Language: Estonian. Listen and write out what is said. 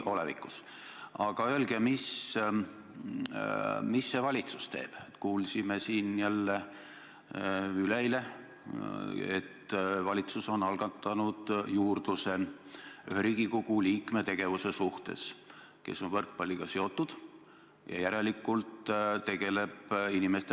Kõigepealt olen väga nõus teie kommentaariga.